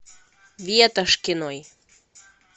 ветошкиной